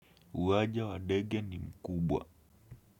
Uwaja wa Dege ni mkubwa.